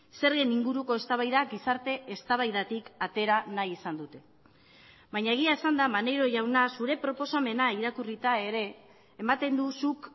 zergen inguruko eztabaida gizarte eztabaidatik atera nahi izan dute baina egia esanda maneiro jauna zure proposamena irakurrita ere ematen du zuk